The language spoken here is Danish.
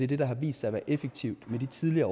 det der har vist sig at være effektivt i de tidligere